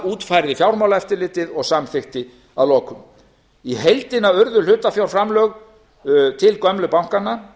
útfærði fjármálaeftirlitið og samþykkti að lokum í heildina urðu utanfjárframlög til gömlu bankanna